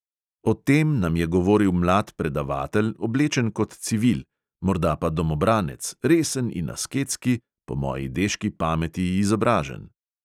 O tem nam je govoril mlad predavatelj, oblečen kot civil, morda pa domobranec, resen in asketski, po moji deški pameti izobražen.